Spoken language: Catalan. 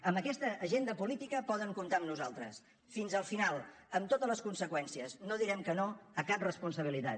amb aquesta agenda política poden comptar amb nosaltres fins al final amb totes les conseqüències no direm que no a cap responsabilitat